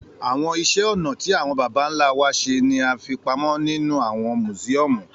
Àwọn ìṣe ọnà tí àwọn bàbá ńlá wa ṣe ni àfi pamọ́ nínú àwọn mùsíọ́ọ̀mù